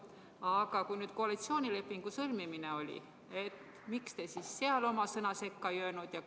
Aga kui koalitsioonilepingu sõlmimine oli, miks te siis seal oma sõna sekka ei öelnud?